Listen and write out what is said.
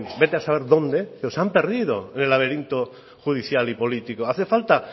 vete a saber dónde pero se han perdido en el laberinto judicial y político hace falta